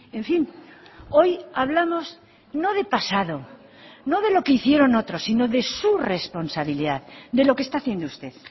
en fin hoy hablamos no de pasado no de lo que hicieron otros sino de su responsabilidad de lo que está haciendo usted